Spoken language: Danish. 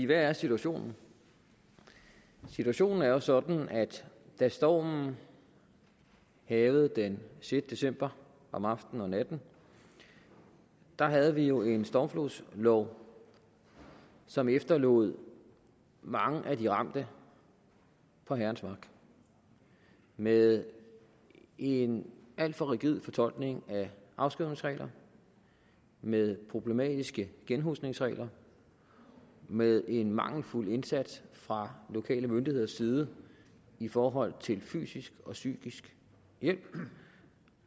hvad er situationen situationen er jo sådan at da stormen hærgede den sjette december om aftenen og natten havde vi en stormflodslov som efterlod mange af de ramte på herrens mark med en alt for rigid fortolkning af afskrivningsregler med problematiske genhusningsregler med en mangelfuld indsats fra lokale myndigheders side i forhold til fysisk og psykisk hjælp